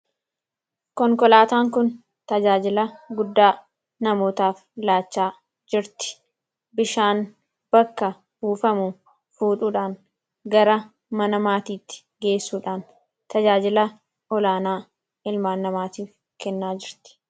konkolaataan kun tajaajila guddaa namootaaf laachaa jirti, bishaan bakka buufamu fuudhuudhaan gara mana maatiitti geessuudhaan tajaajila olaanaa ilmaan namaatiif kennaa jirti.